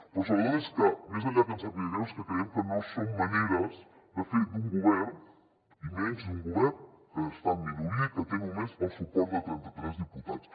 però sobretot més enllà que ens sàpiga greu és que creiem que no són maneres de fer d’un govern i menys d’un govern que està en minoria i que té només el suport de trenta tres diputats